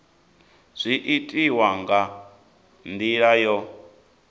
zwi itiwa nga ndila yo